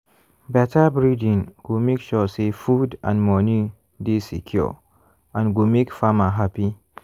better breeding go make sure say food and money dey secure and go make farmer happy.